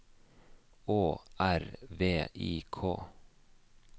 Å R V I K